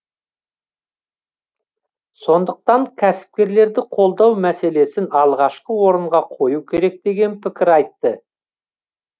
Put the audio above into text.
сондықтан кәсіпкерлерді қолдау мәселесін алғашқы орынға қою керек деген пікір айтты